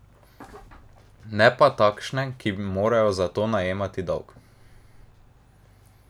Ne pa takšne, ki morajo za to najemati dolg.